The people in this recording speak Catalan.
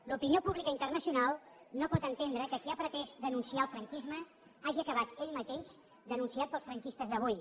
l’opinió pública internacional no pot entendre que qui ha pretès denunciar el franquisme hagi acabat ell mateix denunciat pels franquistes d’avui